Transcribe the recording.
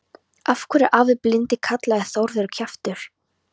Af hverju er afi blindi kallaður Þórður kjaftur?